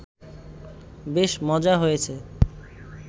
বেশ মজা হয়েছে